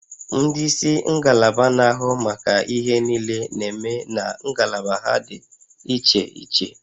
Ndị isi ngalaba na-ahụ maka ihe niile na-eme na ngalaba ha dị iche iche